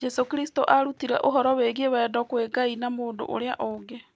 Jesũ Kristo aarutire ũhoro wĩgiĩ wendo kwĩ Ngai na mũndũ ũrĩa ũngĩ.